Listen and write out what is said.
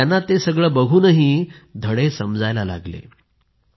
त्यांना ते बघूनही धडे समजायला लागले